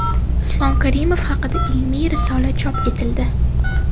Islom Karimov haqida ilmiy risola chop etildi.